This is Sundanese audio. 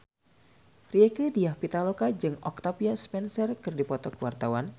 Rieke Diah Pitaloka jeung Octavia Spencer keur dipoto ku wartawan